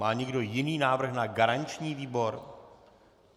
Má někdo jiný návrh na garanční výbor?